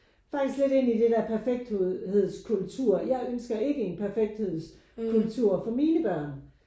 Faktisk lidt ind det der perfekthedskultur jeg ønsker ikke en perfekthedskultur for mine børn